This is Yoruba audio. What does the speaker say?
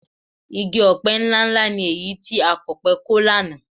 Igi ọ̀pẹ ńláǹlà ni èyí tí akọ̀pẹ kọ lánàá